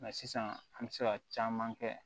Nka sisan an bɛ se ka caman kɛ